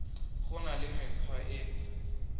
go na le mekgwa e